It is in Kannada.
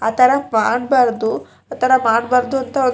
ಆತರ ಆಗ್ಬಾರ್ದು ಆತರ ಮಾಡ್ಬಾರ್ದು ಒಂದ್--